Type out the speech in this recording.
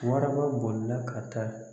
Waraba boli la ka taa